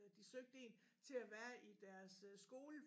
De søgte en til at være i deres øh skole